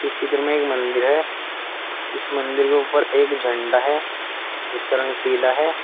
इस चित्र में एक मंदिर है इस मंदिर के ऊपर एक झंडा है जिस का रंग पीला है।